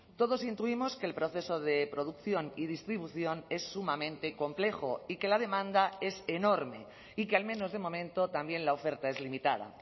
todos intuimos que el proceso de producción y distribución es sumamente complejo y que la demanda es enorme y que al menos de momento también la oferta es limitada